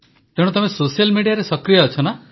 ତ ତମେ ସୋସିଆଲ ମିଡିଆରେ ସକ୍ରିୟ ଅଛ